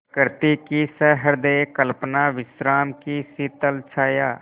प्रकृति की सहृदय कल्पना विश्राम की शीतल छाया